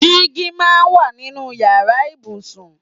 Dígí máa ń wà nínú ìyára ibùsùn.